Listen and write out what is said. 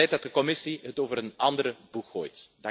Het is tijd dat de Commissie het over een andere boeg gooit.